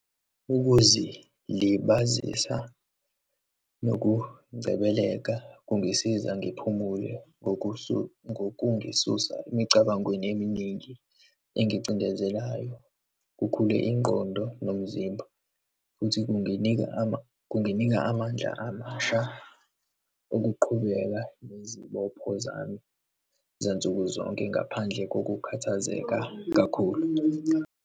Ukuzilibazisa nokungcebeleka kungisiza ngiphumule ngokungisusa emicabangweni eminingi engicindezelayo, kukhule ingqondo nomzimba, futhi kunginika kunginika amandla amasha ukuqhubeka nezibopho zami zansuku zonke, ngaphandle kokukhathazeka kakhulu.